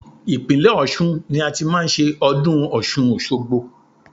Ìpínlẹ̀ Ọ̀ṣun ni a ti máa ń ṣe ọdún Ọ̀ṣun òṣogbo.